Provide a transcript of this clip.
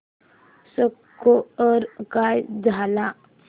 score काय झाला